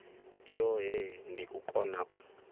yohe ndi u kona u